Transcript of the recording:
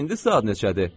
Bəs indi saat neçədir?